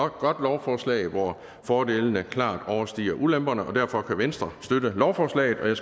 et godt lovforslag hvor fordelene klart overstiger ulemperne og derfor kan venstre støtte lovforslaget jeg